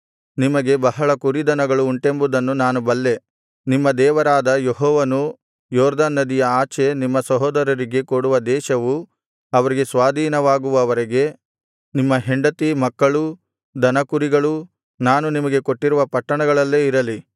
ನಿಮಗೆ ಬಹಳ ದನಕುರಿಗಳು ಉಂಟೆಂಬುದನ್ನು ನಾನು ಬಲ್ಲೆ ನಿಮ್ಮ ದೇವರಾದ ಯೆಹೋವನು ಯೊರ್ದನ್ ನದಿಯ ಆಚೆ ನಿಮ್ಮ ಸಹೋದರರಿಗೆ ಕೊಡುವ ದೇಶವು ಅವರಿಗೆ ಸ್ವಾಧೀನವಾಗುವವರೆಗೆ ನಿಮ್ಮ ಹೆಂಡತಿ ಮಕ್ಕಳೂ ದನಕುರಿಗಳೂ ನಾನು ನಿಮಗೆ ಕೊಟ್ಟಿರುವ ಪಟ್ಟಣಗಳಲ್ಲೇ ಇರಲಿ